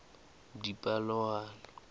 dipalopalo